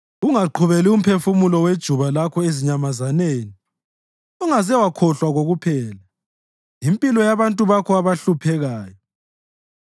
Ungaqhubeli umphefumulo wejuba lakho ezinyamazaneni; ungaze wakhohlwa kokuphela impilo yabantu bakho abahluphekayo.